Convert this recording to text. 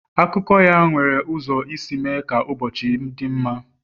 Akụkọ ya nwere ụzọ isi mee ka ụbọchị m dị mma.